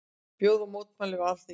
Boða mótmæli við Alþingishúsið